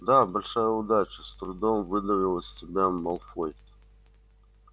да большая удача с трудом выдавил из себя малфой